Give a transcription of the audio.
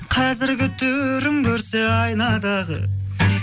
қазіргі түрін көрсе айнадағы